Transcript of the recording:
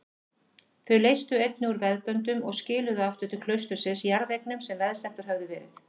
Þau leystu einnig úr veðböndum og skiluðu aftur til klaustursins jarðeignum sem veðsettar höfðu verið.